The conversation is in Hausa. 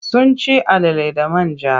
Sun ci alala da man ja.